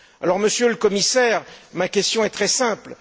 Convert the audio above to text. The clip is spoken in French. Alors, Monsieur le Commissaire, ma question est très simple.